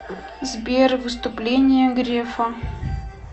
сбер выступление грефа